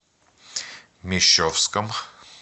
мещовском